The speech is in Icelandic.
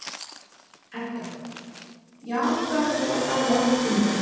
Edda: Já, hvað ertu þá að tala um langt tímabil?